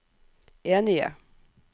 enige